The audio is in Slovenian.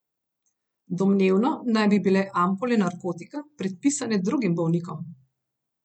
Domnevno naj bi bile ampule narkotika predpisane drugim bolnikom.